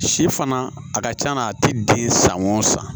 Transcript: Si fana a ka c'a la a tɛ den san o san